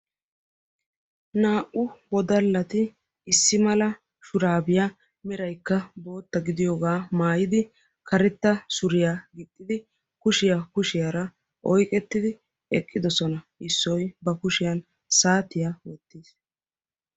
Naa''u wodalati issi mala shurabiyaa meraykka bootta gidiyooga maayyidi issi mala suriya gixxidi kushiya kushiyaara oyqqettidi eqqidoosona. issoy ba kushiyan saatiya wottiis.